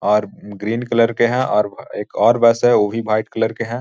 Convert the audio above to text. और green colour के है और एक और बस उ भी कलर के है।